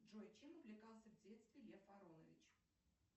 джой чем увлекался в детстве лев аронович